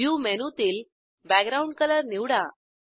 view मेनूतील background colour निवडा